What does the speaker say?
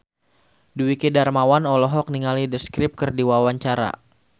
Dwiki Darmawan olohok ningali The Script keur diwawancara